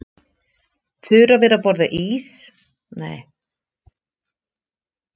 Þura var að borða ís en nú frussaði hún honum yfir allt.